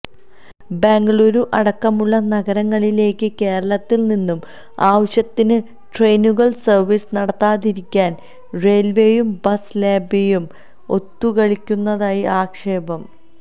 ബംഗളൂരു അടക്കമുള്ള നഗരങ്ങളിലേയ്ക്ക് കേരളത്തില് നിന്ന് ആവശ്യത്തിന് ട്രെയിനുകള് സര്വീസ് നടത്താതിരിക്കാന് റെയില്വേയും ബസ് ലോബിയും ഒത്തുകളിക്കുന്നതായി ആക്ഷേപം